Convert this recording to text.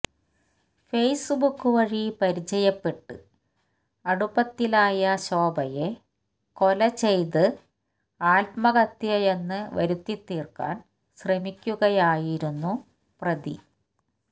ഫേസ്ബുക്കുവഴി പരിചയപ്പെട്ട് അടുപ്പത്തിലായ ശോഭയെ കൊലചെയ്ത് ആത്മഹത്യയെന്ന് വരുത്തിത്തീർക്കാൻ ശ്രമിക്കുകയായിരുന്നു പ്രതി